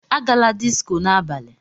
Agala disco n'abalị!